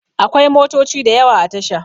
Akwai motoci da yawa a tasha